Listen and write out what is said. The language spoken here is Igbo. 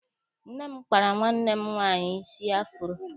Nne m kpara nwanne m nwaanyị isi afuro.